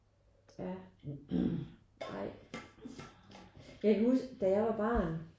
Ja. Jeg kan huske da jeg var barn